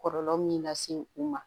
Kɔlɔlɔ min lase u ma